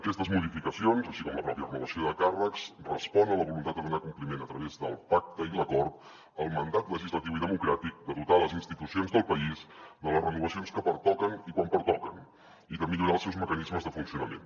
aquestes modificacions així com la pròpia renovació de càrrecs respon a la voluntat de donar compliment a través del pacte i l’acord al mandat legislatiu i democràtic de dotar les institucions del país de les renovacions que pertoquen i quan pertoquen i de millorar els seus mecanismes de funcionament